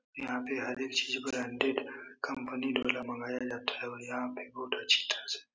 यहाँ पे हर एक चीज ब्रांडेड कंपनी द्वारा मंगाया जाता है और यहाँ पे बहुत अच्छी तरह से --